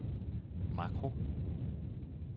makro